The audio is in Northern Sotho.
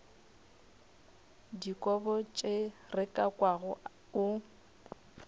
dikobo tše re kwago o